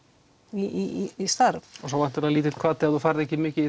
í starf svo væntanlega lítill hvati ef þú færð ekki mikið í